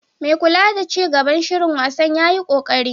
Mai kula da ci gaban shirin wasan yayi koƙari.